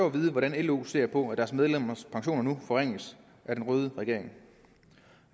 at vide hvordan lo ser på at deres medlemmers pensioner nu forringes af den røde regering